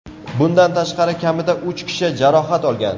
Bundan tashqari, kamida uch kishi jarohat olgan.